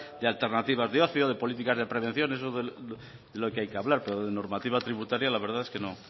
de alternativas de ocio de políticas de prevenciones es de lo que hay que hablar pero de normativa tributaria la verdad es que